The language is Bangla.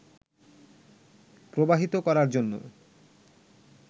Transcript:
প্রবাহিত করার জন্য